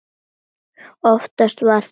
Oftast var þó sungið.